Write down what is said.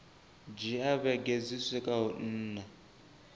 dzhia vhege dzi swikaho nṋa